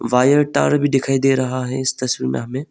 Tower भी दिखाई दे रहा है इस तस्वीर में हमें।